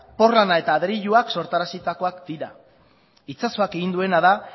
porlana eta adreilua sortarazitakoak dira itsasoak egin duena da